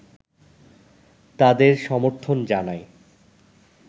তাদের সমর্থন জানায়